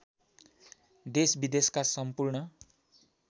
देशविदेशका सम्पूर्ण